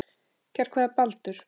Kær kveðja, Baldur